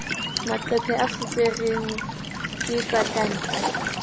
maqephe a fuperweng ke patanta